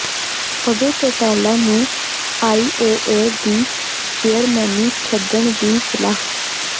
ਅਭੈ ਚੌਟਾਲਾ ਨੂੰ ਆਈਓਏ ਦੀ ਚੇਅਰਮੈਨੀ ਛੱਡਣ ਦੀ ਸਲਾਹ